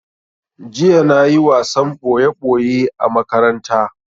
Jiya na yi wasan ɓoye ɓoye a makaranta